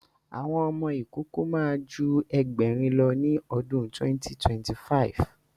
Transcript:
Àwọn ọmọ ìkókó ma ju Ẹgbẹ̀rin lọ ní ọdún 2025